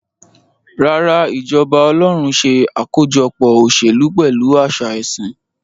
Rárá, ìjọba ọlọ́run ṣe àkójọpọ̀ òṣèlú pẹ̀lú àṣẹ ẹ̀sìn.